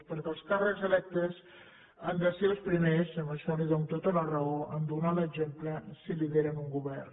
perquè els càrrecs electes han de ser els primers en això li dono tota la raó a donar l’exemple si lideren un govern